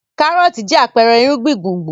Kárọ́tì jẹ́ àpẹẹrẹ ìrúgbìn gbùngbùn.